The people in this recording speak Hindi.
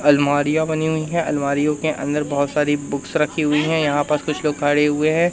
अलमारियां बनी हुई है अलमारियों के अंदर बहोत सारी बुक्स रखी हुई है। यहां पास कुछ लोग खड़े हुए हैं।